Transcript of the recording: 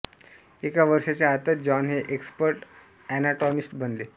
एका वर्षाच्या आतच जॉन हे एक्सपर्ट अनॉटॉमिस्ट बनले